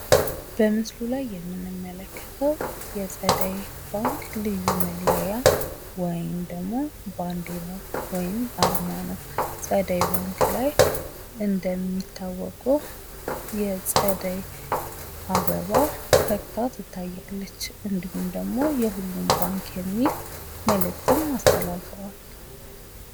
በምስሉ ላይ የምንመለከተው የጸደይ ባንክ ልዩ መለያ ወይም ደግሞ ባንዲራ ወይም አርማ ነው። ጸደይ ባንክ ላይ እንደሚታወቀው የጸደይ አበባ ፈግታ ትታያለች። እንዲሁም ደግሞ የሁሉም ባንክ የሚል መልእክትም አስተላልፈዋል።